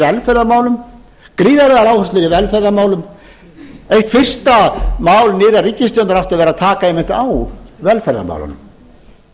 velferðarmálum gríðarlegar áherslur í velferðarmálum eitt fyrsta mál nýrrar ríkisstjórnar átti að vera að taka einmitt á velferðarmálunum